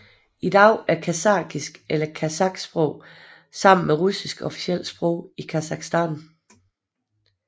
I dag er kasakhisk eller kasaksprog sammen med russisk officielt sprog i Kasakhstan